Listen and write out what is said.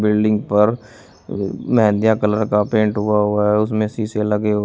building पर मेहंदीयां colour का पेंट हुआ हुआ है उसमें शीशे लगे हुए--